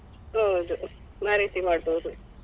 ಹೌದು ಆ ರೀತಿ ಮಾಡ್ಬೋದು.